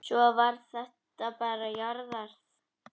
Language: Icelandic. Svo var þetta bara jarðað.